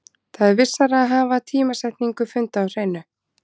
Það er vissara að hafa tímasetningu funda á hreinu.